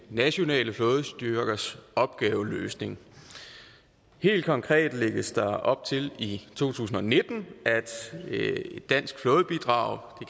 nationale flådestyrkers opgaveløsning helt konkret lægges der op til i to tusind og nitten at et dansk flådebidrag